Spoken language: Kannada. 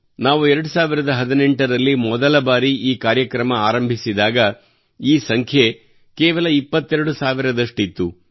ನಾವು 2018 ರಲ್ಲಿ ಮೊದಲ ಬಾರಿ ಈ ಕಾರ್ಯಕ್ರಮ ಆರಂಭಿಸಿದಾಗ ಈ ಸಂಖ್ಯೆ ಕೇವಲ 22 ಸಾವಿರದಷ್ಟಿತ್ತು